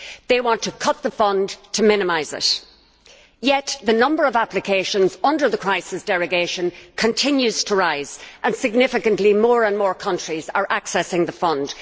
They want to cut the fund, to minimise it. Yet the number of applications under the crisis derogation continues to rise and, significantly, more and more countries are accessing the fund.